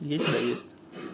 если есть